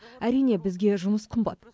әрине бізге жұмыс қымбат